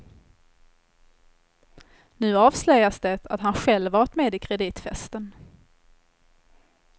Nu avslöjas det att han själv varit med i kreditfesten.